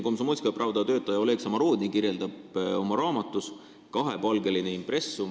Komsomolskaja Pravda endine töötaja Oleg Samorodni kirjeldab oma raamatus "Kahepalgeline Impressum.